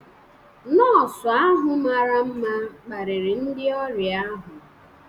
Nọọsụ ahụ mara mma kparịrị ndị ọrịa ahụ.